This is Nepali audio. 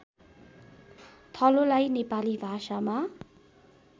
थलोलाई नेपाली भाषामा